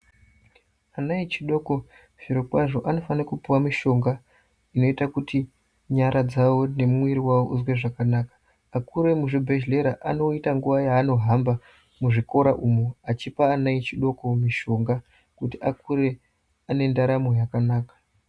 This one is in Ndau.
Ana echidoko zviro kwazvo anofana kupiwa mishonga inoita kuti nyara dzawo nemuwiri wawo izwe zvakanaka akuru emuzvibhedhlera anoita nguva yaanohamba muzvikora umo achipa ane adiki mishonga kuti akure zvakanaka.